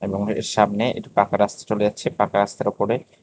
সামনে একটি পাকা রাস্তা চলে যাচ্ছে পাকা রাস্তার ওপরে--